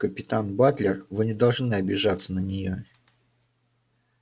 капитан батлер вы не должны обижаться на неё